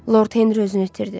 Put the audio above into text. Lord Henri özünü itirdi.